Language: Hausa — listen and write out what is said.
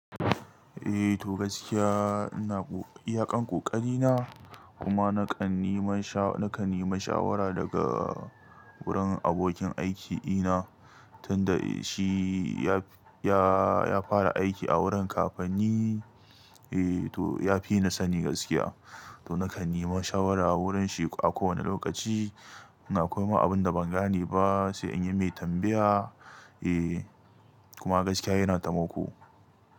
Eh to gaskiya ina iyaƙen ƙoƙari na kuma na kan nima sha, na kan nima shawara daga wurin abokin aiki ina tunda shi ya, ya, ya fara aiki a wurin kafanni. Eh to ya fi ni sani gaskiya to na kan nima shawara wurin shi a kowane lokaci. Ina koyo ma abunda ban gane ba sai in yi mai tambaya. Eh kuma gaskiya yana tamako.